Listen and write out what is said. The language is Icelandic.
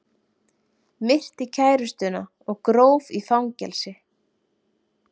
Myrti kærustuna og gróf í fangelsi